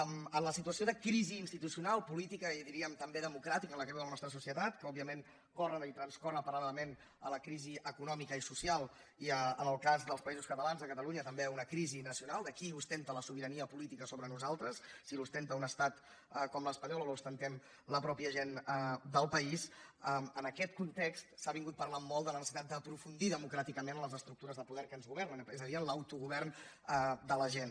en la situació de crisi institucional política i diríem també democràtica en la qual viu la nostra societat que òbviament corre i transcorre paral·lelament a la crisi econòmica i social i en el cas dels països catalans de catalunya també una crisi nacional de qui ostenta la sobirania política sobre nosaltres si l’ostenta un estat com l’espanyol o l’ostentem la mateixa gent del país en aquest context s’ha estat parlant molt de la necessitat d’aprofundir democràticament en les estructures de poder que ens governen és a dir en l’autogovern de la gent